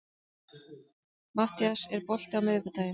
Mattías, er bolti á miðvikudaginn?